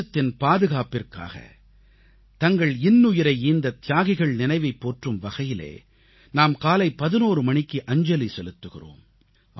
தேசத்தின் பாதுகாப்பிற்காக தங்கள் இன்னுயிரை ஈந்த தியாகிகள் நினைவைப் போற்றும் வகையிலே நாம் காலை 11 மணிக்கு அஞ்சலி செலுத்துகிறோம்